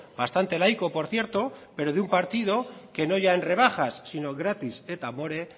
bastante laico por cierto pero de un partido que no ya en rebajas sino gratis et amore